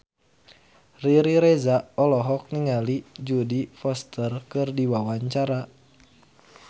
Riri Reza olohok ningali Jodie Foster keur diwawancara